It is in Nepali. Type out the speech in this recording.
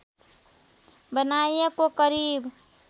बनाइएको करिब